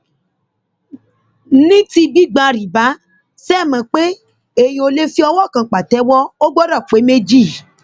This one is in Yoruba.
ní ti gbígba rìbá ṣe é mọ pé èèyàn ò lè fi owó kan pàtẹwọ ò gbọdọ pé méjì